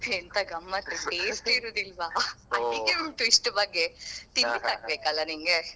ಎಂತ ಗಮ್ಮತ್ತ್ taste ಇರುದಿಲ್ವ ಅಡಿಗೆ ಉಂಟು ಇಷ್ಟು ಬಗೆ ತಿನ್ನಿಕ್ಕಾಗ್ಬೇಕಲ್ಲ ನಿಂಗೆ.